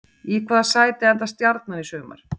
Í hvaða sæti endar Stjarnan í sumar?